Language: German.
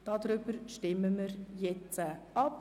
Darüber stimmen wir jetzt ab.